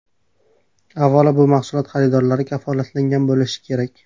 Avvalo, bu mahsulot xaridorlari kafolatlangan bo‘lishi kerak.